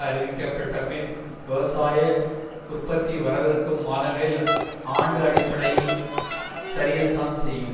அறிவிக்கப்பட்டபின் விவசாய உற்பத்தி வரவிருக்கும் மாதங்களில் ஆண்டு அடிப்படையில் சரியத்தான் செய்யும்